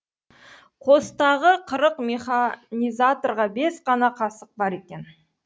қостағы қырық механизаторға бес қана қасық бар екен